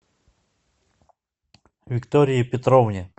виктории петровне